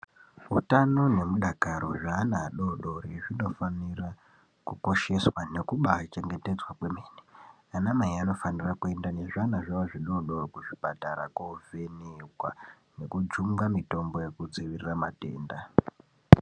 Hutano nemudakaro zveana adodori zvinofanira kukosheswa nekubachengetedzwa kwemene , anamai anofanira kuenda nezviana zvavo zvidodori kuzvipatara kovhenekwa nekujunga mitombo yekudzivirira matenda.